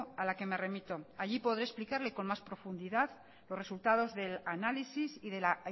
a la que me remito allí podré explicarle con más profundidad los resultados del análisis y de la